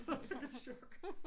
Jeg fik et chok